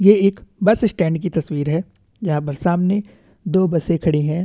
ये एक bus stand की तसवीर है यहाँ पे सामने दो बसे खड़ी है।